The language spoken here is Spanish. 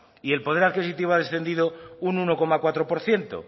y el poder adquisitivo ha descendido un uno coma cuatro por ciento